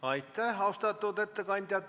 Aitäh, austatud ettekandja!